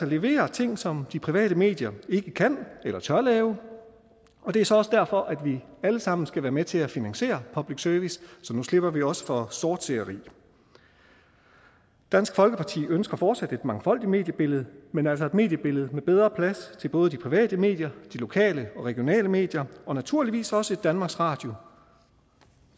levere ting som de private medier ikke kan og tør lave og det er så også derfor vi alle sammen skal være med til at finansiere public service så nu slipper vi også for sortseere dansk folkeparti ønsker fortsat et mangfoldigt mediebillede men altså et mediebillede med bedre plads til både de private medier og de lokale og regionale medier og naturligvis også plads til danmarks radio